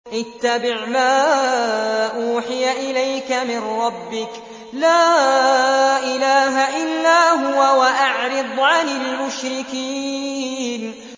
اتَّبِعْ مَا أُوحِيَ إِلَيْكَ مِن رَّبِّكَ ۖ لَا إِلَٰهَ إِلَّا هُوَ ۖ وَأَعْرِضْ عَنِ الْمُشْرِكِينَ